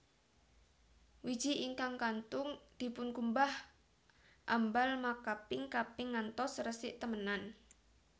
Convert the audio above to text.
Wiji ingkang kantun dipunkumbah ambal makaping kaping ngantos resik temenan